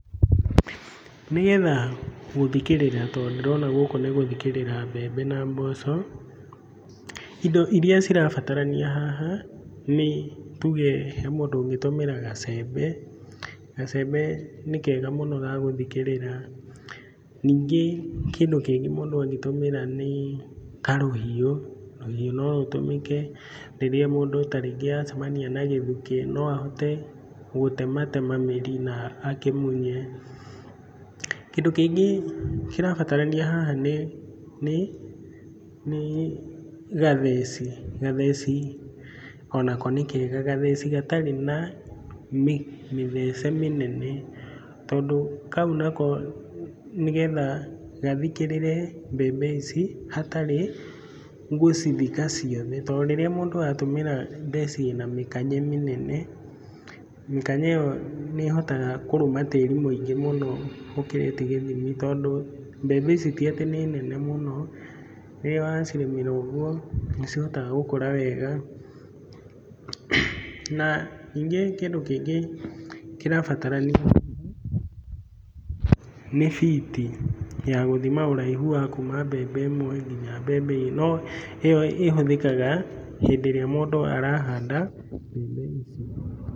Nĩgetha gũthikĩrĩra tondũ ndĩrona gũkũ nĩ gũthikĩrĩra mbembe na mboco, indo iria cirabatarania haha nĩ tuge he mũndũ ũngĩtũmĩra gacembe, gacembe nĩ kega mũno ga gũthikĩrĩra, ningĩ kĩndũ kĩngĩ mũndũ angĩtũmĩra nĩ karũhiũ, rũhiũ no rũtũmĩke rĩrĩa mũndũ ta rĩngĩ acamania na gĩthukĩ, no ahote gũtematema mĩri na akĩmunye, kĩndũ kĩngĩ kĩrabatarania haha nĩ gatheci, gatheci o nako nĩ kega, gatheci gatarĩ na mĩthece mĩnene, tondũ kau nako nĩgetha gathikĩrĩre mbembe ici, hatarĩ gũcithika ciothe tondũ rĩrĩa mũndũ atũmĩra theci na mĩkanye mĩnene, mĩkanye ĩyo nĩ ĩhotaga kũrũma tĩri mũingĩ mũno ũkĩrĩte gĩthimi tondũ mbembe ici ti atĩ nĩ nene mũno, rĩrĩa wacirĩmĩra ũguo, nĩ cihotaga gũkũra wega, na ningĩ kĩndũ kĩngĩ kĩrabatarania haha, nĩ biti ya gũthima ũraihu wa kuma mbembe ĩmwe nginya mbembe ĩngĩ no ĩyo ĩhũthĩkaga hĩndĩ ĩrĩa mũndũ arahanda mbembe icio.